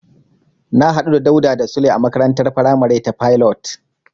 Na hadu da Dauda da Sule a makarantar faramari ta Pilot.